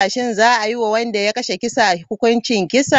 Shin za a yi wa wanda ya kashe kisa hukuncin kisa?